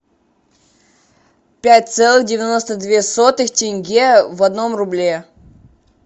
пять целых девяносто две сотых тенге в одном рубле